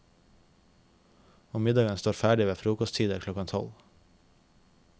Og middagen står ferdig ved frokosttider klokken tolv.